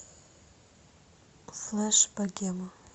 флэш богема